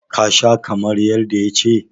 ka Sha kamar yadda ya ce?